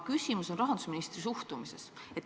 Küsimus on rahandusministri suhtumises.